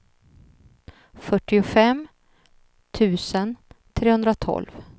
fyrtiofem tusen trehundratolv